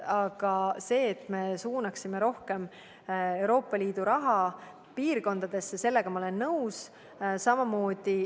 Aga sellega, et me suunaksime rohkem Euroopa Liidu raha muudesse piirkondadesse, ma olen nõus.